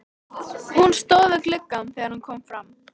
Hún stóð við gluggann þegar hann kom fram.